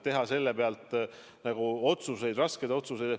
Teha selle pealt otsuseid, raskeid otsuseid ...